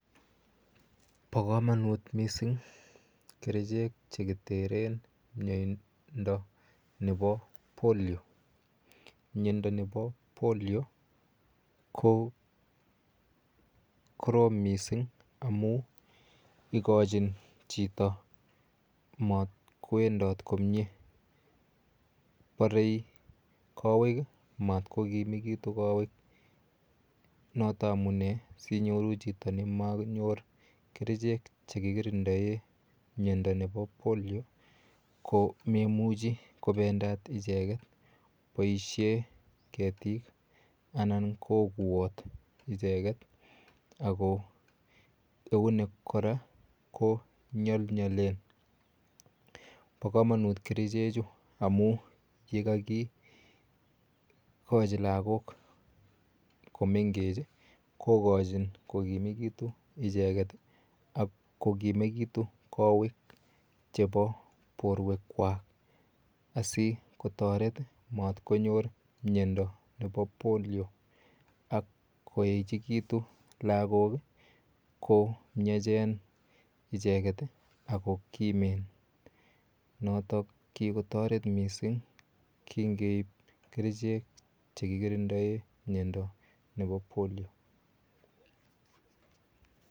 Po komonut mising kerichek chekiteren miondo nepo polio miondoni po polio ko korom mising amun ikochin chito matkwendot komie porei kowek matko kimekitu kowek noto amune sinyoru chito nimanyor kerichek chekikirindae miondoni po polio ko meimuchi kopendat icheket boishet ketik anan ko kuot icheket ako eunek kora ko nyolnyolen po komonut kerichek chu amu yekakikochi lakok komengech kokochin kokimekitu icheket ako kimekitu kowek chepo borwek kwach asikotoret matkonyor miondo nepo polio akoechikitu lakok komnyachen icheket ako koimen notok kikotoret mising kingeip kerchek chekikirindae miondoni nepo polio